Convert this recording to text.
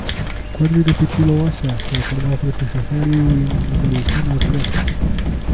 Kot bi ga pičila osa, se je pognal proti šoferju in mu rekel, naj odpre.